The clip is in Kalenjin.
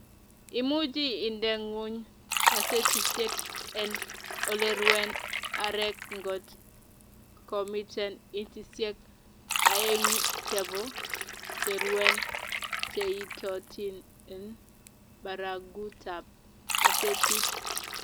imuchi inde ngwony kasetisiek en oleruen arek ngot komiten inchisiek aengu chebo cheruen cheiitotin en baragutab kasetit